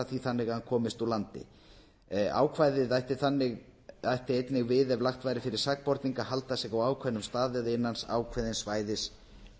því þannig að hann komist úr landi ákvæðið ætti einnig við ef lagt væri fyrir sakborning að halda sig á ákveðnum stað eða innan ákveðins svæðis